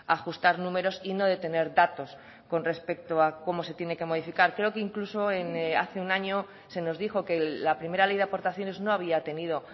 ajustar números y no de tener datos con respecto a cómo se tiene que modificar creo que incluso hace un año se nos dijo que la primera ley de aportaciones no había tenido